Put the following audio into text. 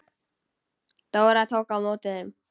Dóra tók á móti þeim.